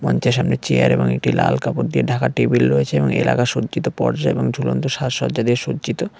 মঞ্চের সামনে চেয়ার এবং একটি লাল কাপড় দিয়ে ঢাকা টেবিল রয়েছে এবং এলাকা সজ্জিত পর্জা এবং ঝুলন্ত সাজসজ্জা দিয়ে সজ্জিত।